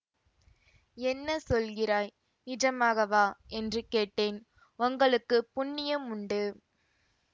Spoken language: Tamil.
என்ன சொல்கிறாய் நிஜமாகவா என்று கேட்டேன் உங்களுக்கு புண்ணியம் உண்டு